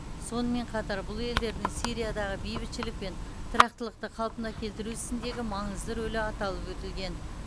сонымен қатар бұл елдердің сириядағы бейбітшілік пен тұрақтылықты қалпына келтіру ісіндегі маңызды рөлі аталып өтілген